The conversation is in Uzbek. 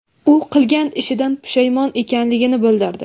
U qilgan ishidan pushaymon ekanligini bildirdi.